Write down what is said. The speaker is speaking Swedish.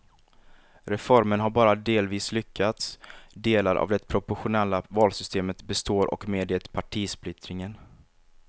Reformen har bara delvis lyckats, delar av det proportionella valsystemet består och med det partisplittringen.